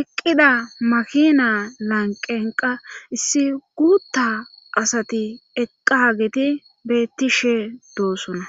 eqqida makina lanqenqa issi guutta asati eqqageti beettishe doossona